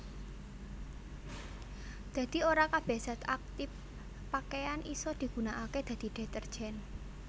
Dadi ora kabèh zat aktip pakeyan isa digunakaké dadi detergen